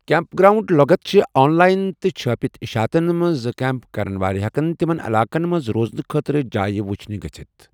Camp ground لۄغت چھِ online تہٕ چھٲپِتھ اِشعاتن منز زِ كیمپ كرن وٲلہِ ہیكن یمن علاقن منز روزنہٕ خٲطرٕ جایہ وٗچھِنہِ گژھِتھ ۔